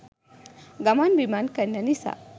ගමන් බිමන් කරන නිසා.